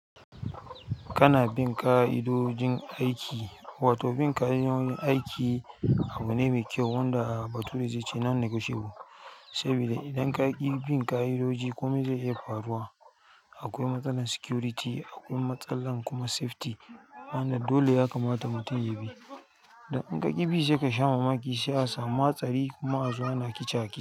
Kana bin ƙa'idojin aiki wato bin ƙa'idojin aiki abu ne mai kyau wanda bature zai ce non negotiable, sabida idan ka ki bin ƙa'idoji kome zai iya faruwa. Akwai matsalar security, akwai matsalar kuma safety. Wanda dole mutum ya kamata ya bi dan in ka ki bi sai ka sha mamaki sai a samu hatsari kuma a zuwa na kicake.